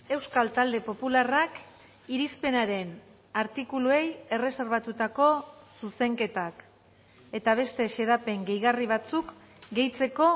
euskal talde popularrak irizpenaren artikuluei erreserbatutako zuzenketak eta beste xedapen gehigarri batzuk gehitzeko